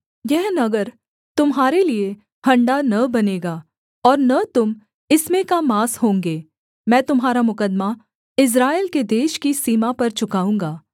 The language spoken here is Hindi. यह नगर तुम्हारे लिये हँडा न बनेगा और न तुम इसमें का माँस होंगे मैं तुम्हारा मुकद्दमा इस्राएल के देश की सीमा पर चुकाऊँगा